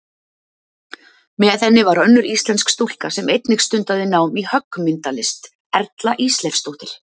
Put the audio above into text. Með henni var önnur íslensk stúlka sem einnig stundaði nám í höggmyndalist, Erla Ísleifsdóttir.